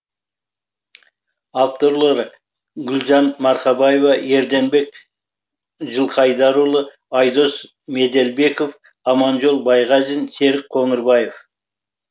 авторлары гүлжан марқабаева ерденбек жылқыайдарұлы айдос меделбеков аманжол байғазин серік қоңырбаев